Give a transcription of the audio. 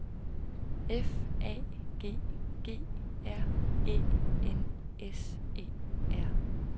F A G G R Æ N S E R